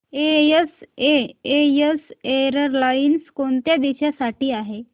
SAS airlines कोणत्या देशांसाठी आहे